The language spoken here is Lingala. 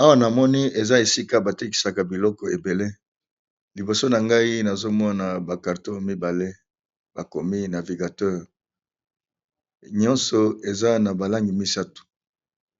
Awa na moni eza esika batekisaka biloko ebele liboso na ngai nazomona ba carton mibale bakomi navigateur nyonso eza na balangi misato